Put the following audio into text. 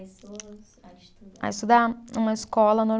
A estudar. A estudar? Uma escola